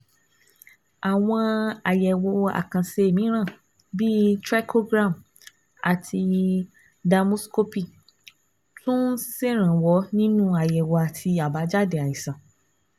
Àwọn àyẹ̀wò àkànṣe mìíràn, bíi trichogram àti dermoscopy, tún ń ṣèrànwọ́ nínú àyẹ̀wò àti àbájáde àìsàn